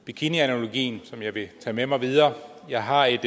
bikinianalogien som jeg vil tage med mig videre jeg har et